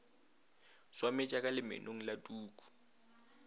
swametša ka lemenong la tuku